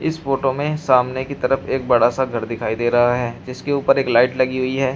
इस फोटो में सामने की तरफ एक बड़ा सा घर दिखाई दे रहा है जिसके ऊपर एक लाइट लगी हुई है।